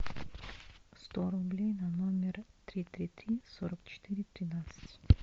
сто рублей на номер три три три сорок четыре тринадцать